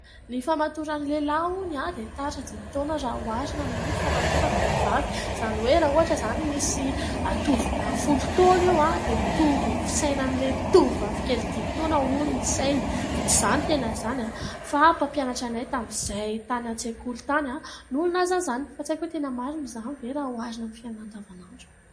Ny fahamatoran'ny lehilahy hono dia tara dimy taona raha oharina amin'ny fahamatoran'ny vehivavy, izany hoe raha ohatra izany misy tovolahy folo taona eo dia mitovy ny fisainan'ilay tovovavy kely dimy taona hono ny sainy. Tsy izaho no niteny an'izany fa ilay mpampianatra anay tamin'izay tany an-tsekoly tany no nilaza an'izany, fa tsy haiko hoe tena marina ve izany raha oharina amin'ny fiainana andavan'andro.